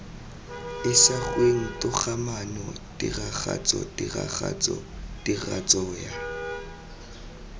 isagweng togamaano tiragatso tiragatso tiragatsoya